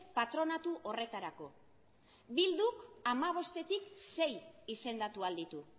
patronatu horretarako bilduk hamabostetik sei izendatu ahal ditu